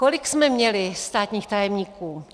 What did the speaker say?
Kolik jsme měli státních tajemníků?